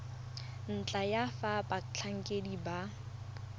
ntlha ya fa batlhankedi ba